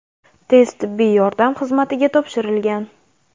tez tibbiy yordam xizmatiga topshirilgan.